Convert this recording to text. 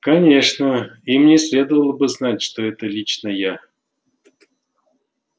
конечно им не следовало бы знать что это лично я